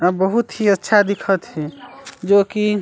अ बहुत ही अच्छा दिखत हे जो कि--